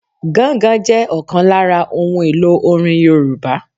Gángan jẹ ọ̀kan lára ohun èlò orin Yorùbá